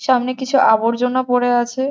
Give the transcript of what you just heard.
সামনে কিছু আবর্জনা পরে আছে।